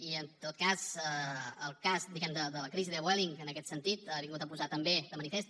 i en tot cas el cas diguem ne de la crisi de vueling que en aquest sentit ha vingut a posar també de manifest